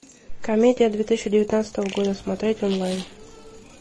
комедия две тысячи девятнадцатого года смотреть онлайн